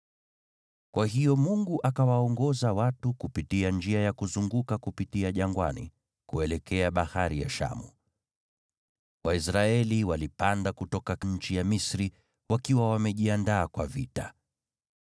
Kwa hiyo Mungu akawaongoza watu kupitia njia ya kuzunguka kupitia jangwani, kuelekea Bahari ya Shamu. Waisraeli walipanda kutoka nchi ya Misri wakiwa wamejiandaa kwa vita.